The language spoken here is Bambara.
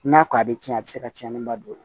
N'a ko a bɛ tiɲɛ a bɛ se ka cɛnni ba don